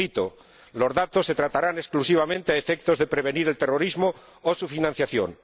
Cito Los datos se tratarán exclusivamente a efectos de prevenir el terrorismo o su financiación.